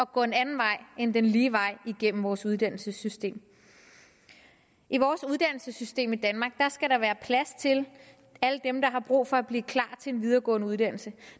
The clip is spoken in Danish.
gå en anden vej end den lige vej igennem vores uddannelsessystem i vores uddannelsessystem i danmark skal der være plads til alle dem der har brug for at blive klar til en videregående uddannelse